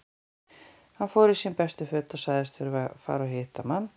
Hann fór í sín bestu föt og sagðist þurfa að fara og hitta mann.